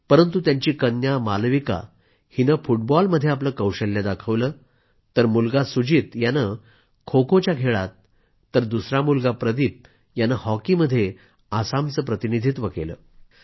परंतु त्यांची कन्या मालविकाने फुटबॉलमध्ये आपलं कौशल्य दाखवलं तर त्यांचा मुलगा सुजीत यानं खोखो खेळात तर दुसरा मुलगा प्रदीप यानं हॉकीमध्ये आसामचं प्रतिनिधित्व केलं